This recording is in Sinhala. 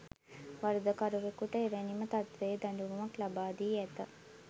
වරදකරුවූවකුට එවැනිම තත්වයේ දඬුවමක් ලබාදී ඇත